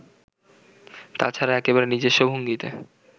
তা ছাড়া একেবারে নিজস্ব ভঙ্গিতে